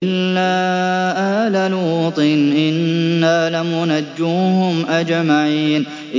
إِلَّا آلَ لُوطٍ إِنَّا لَمُنَجُّوهُمْ أَجْمَعِينَ